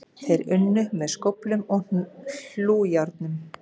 Þeir unnu með skóflum og hlújárnum.